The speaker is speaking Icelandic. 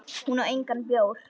Hún á engan bjór.